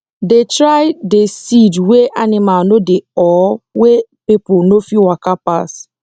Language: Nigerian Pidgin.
dey try dey seed wey animal no dey or wer people no fit waka pass